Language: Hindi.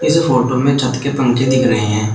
इस फोटो में छत के पंखे दिख रहे हैं।